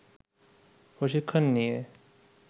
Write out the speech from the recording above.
প্রশিক্ষণ নিয়ে